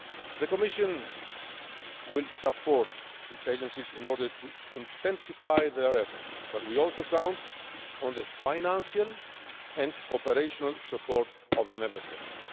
The Commission will support its agencies in order to intensify their efforts, but we also count on the financial and operational support of the Member States.